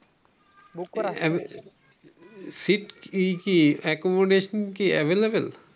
seat ই কি accommodation available